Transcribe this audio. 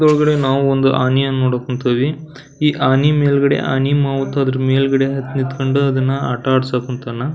ಇದ್ರೊಳಗ್ಡೆ ನಾವು ಒಂದು ಆನೆಯನ್ನು ನೋಡಾಕ ಕುಂತ್ಕೊಂಡಿದೀವಿ. ಈ ಆನೆ ಮೇಲ್ಗಡೆ ಆನಿ ಮಾವುತ ಅದ್ರ ಮೆಲ್ಗಡೆ ಹತ್ತ್ ನಿತ್ಕೊಂಡು ಅದ್ರನ್ನ ಆಟ ಆಡ್ಸಾಕ್ ಕುಂತಾನ.